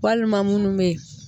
Walima minnu bɛyi.